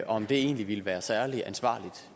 om det egentlig ville være særlig ansvarligt